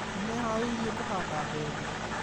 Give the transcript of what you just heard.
Nĩmeeharĩirie kũhanda mbembe